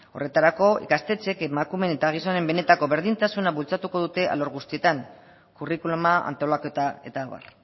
horretarako ikastetxeek emakumeen eta gizonen benetako berdintasuna bultzatuko dute alor guztietan curriculuma antolaketa eta abar